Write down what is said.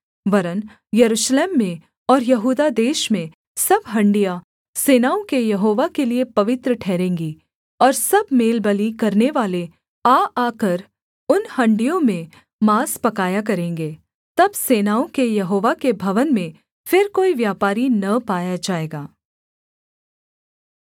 वरन् यरूशलेम में और यहूदा देश में सब हाँड़ियाँ सेनाओं के यहोवा के लिये पवित्र ठहरेंगी और सब मेलबलि करनेवाले आ आकर उन हाँड़ियों में माँस पकाया करेंगे तब सेनाओं के यहोवा के भवन में फिर कोई व्यापारी न पाया जाएगा